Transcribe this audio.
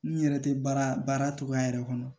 N yɛrɛ tɛ baara cogoya yɛrɛ kɔnɔ